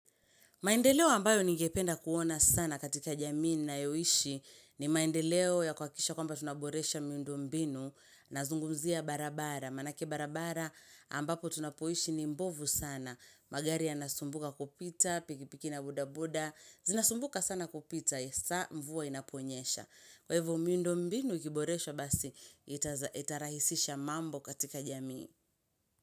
Maendeleo ambayo ningependa kuona sana katika jamii ninayoishi ni maendeleo ya kuhakikisha kwamba tunaboresha miundo mbinu nazungumzia barabara. Maanake barabara ambapo tunapoishi ni mbovu sana. Magari yanasumbuka kupita, pikipiki na bodaboda. Zinasumbuka sana kupita, saa mvua inaponyesha. Kwa hivo miundo mbinu ikiboreshwa basi itarahisisha mambo katika jamii.